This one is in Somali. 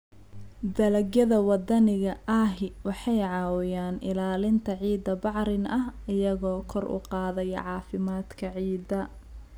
Dalagyada waddaniga ahi waxay caawiyaan ilaalinta ciidda bacrin ah iyagoo kor u qaadaya caafimaadka ciidda.